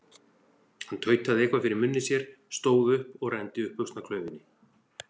Hann tautaði eitthvað fyrir munni sér, stóð upp og renndi upp buxnaklaufinni.